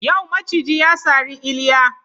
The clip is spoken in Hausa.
Yau maciji ya sari Iliya